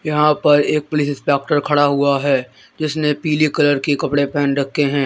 यहां पर एक पुलिस खड़ा हुआ है जिसने पीली कलर की कपड़े पहन रखे हैं।